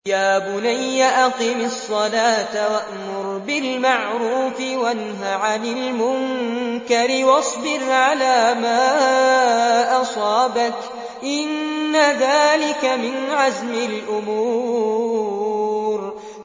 يَا بُنَيَّ أَقِمِ الصَّلَاةَ وَأْمُرْ بِالْمَعْرُوفِ وَانْهَ عَنِ الْمُنكَرِ وَاصْبِرْ عَلَىٰ مَا أَصَابَكَ ۖ إِنَّ ذَٰلِكَ مِنْ عَزْمِ الْأُمُورِ